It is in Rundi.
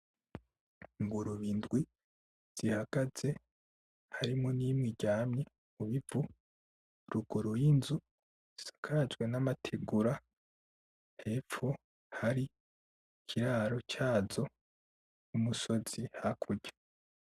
Ingurube indwi zihagaze, harimwo imwe iryamye, mubivu. Ruguru y'inzu isakajwe n'amategura, hepfo hari iraro zazo n'umusozi hakurya.